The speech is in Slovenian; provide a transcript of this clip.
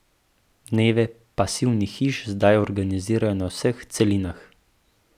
Dneve pasivnih hiš zdaj organizirajo na vseh celinah.